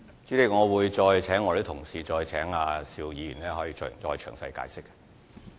主席，我會再請相關同事向邵議員詳細解釋。